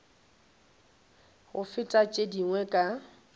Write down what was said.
go feta tše dingwe ka